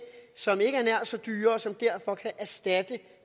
som ikke er nær så dyre og som derfor kan erstatte